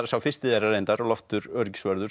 sá fyrsti þeirra reyndar Loftur öryggisvörður